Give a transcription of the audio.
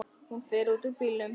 Hún fer út úr bílnum.